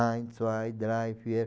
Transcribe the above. Ein, zwei, drei, vier.